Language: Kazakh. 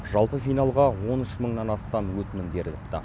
жалпы финалға он үш мыңнан астам өтінім беріліпті